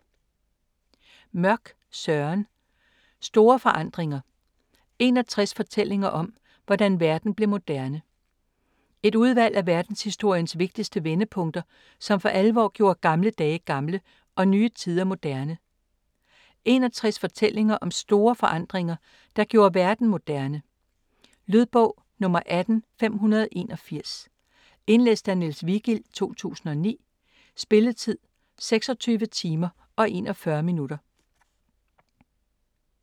Mørch, Søren: Store forandringer: 61 fortællinger om, hvordan verden blev moderne Et udvalg af verdenshistoriens vigtigste vendepunkter, som for alvor gjorde gamle dage gamle og nye tider moderne. 61 fortællinger om store forandringer, der gjorde verden moderne. Lydbog 18581 Indlæst af Niels Vigild, 2009. Spilletid: 26 timer, 41 minutter.